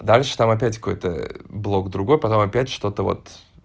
дальше там опять какой-то блок другой потом опять что-то вот